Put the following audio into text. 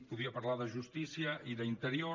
podria parlar de justícia i d’interior